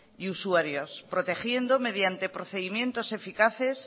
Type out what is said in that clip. y usuarios protegiendo mediante procedimientos eficaces